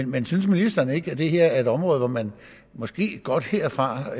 men synes ministeren ikke at det her er et område hvor man måske godt herfra